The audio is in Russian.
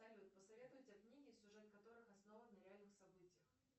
салют посоветуйте книги сюжет которых основан на реальных событиях